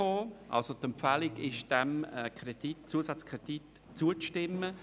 Die Empfehlung lautet somit, diesem Zusatzkredit zuzustimmen.